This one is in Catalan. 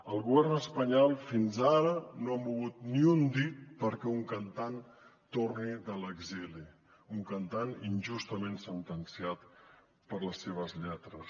el govern espanyol fins ara no ha mogut ni un dit perquè un cantant torni de l’exili un cantant injustament sentenciat per les seves lletres